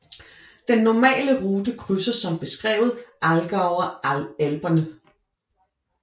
Den normale rute krydser som beskrevet Allgäuer Alperne